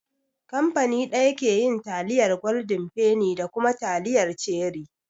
Kamfani ɗaya ke yin taliyar gwaldin feni da kuma taliyar cherie